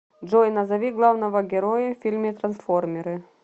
джой назови главного героя в фильме трансформеры